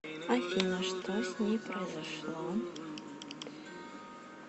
афина что с ней произошло